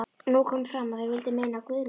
Nú kom fram að þeir vildu meina að Guðmundur